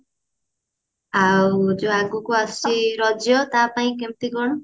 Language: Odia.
ଆଉ ଯୋଉ ଆଗକୁ ଆସୁଛି ରଜ ତା ପାଇଁ କେମତି କଣ